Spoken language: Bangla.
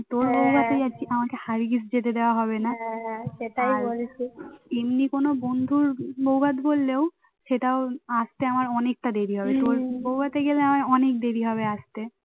সেটাও আস্তে আমার অনেকটা দেরি হবে তোর বউভাতে গেলে আমার অনেক দেরি হবে আস্তে